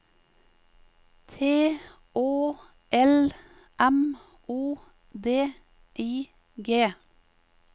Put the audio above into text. T Å L M O D I G